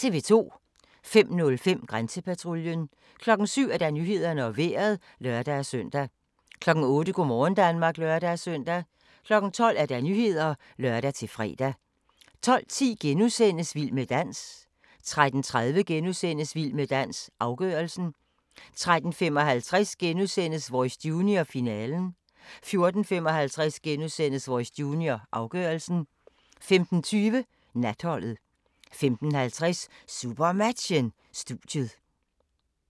05:05: Grænsepatruljen 07:00: Nyhederne og Vejret (lør-søn) 08:00: Go' morgen Danmark (lør-søn) 12:00: Nyhederne (lør-fre) 12:10: Vild med dans * 13:30: Vild med dans - afgørelsen * 13:55: Voice Junior – finalen * 14:55: Voice Junior – afgørelsen * 15:20: Natholdet 15:50: SuperMatchen: Studiet